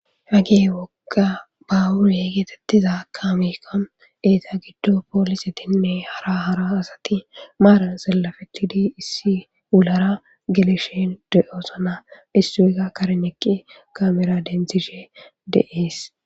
Hagee woqa bawure geetettiza kaameka eeta giddo poolisetinne hara hara asati maaran sillafetidi issi ulara geleshen deoosona issuweka karneqqi kamera dentishe deees.